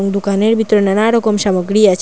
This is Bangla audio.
দোকানের ভিতরে নানারকম সামগ্রী আছে।